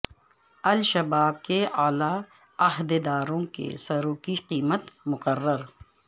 الشباب کے اعلی عہدے داروں کے سروں کی قیمت مقرر